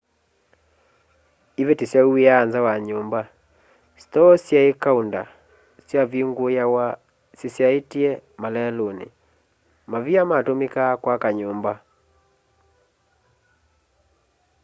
iveti syauwiaa nza wa nyumba stoo syai kaunda syavinguawa syisyaitye maleluni mavia matumikaa kwaka nyumba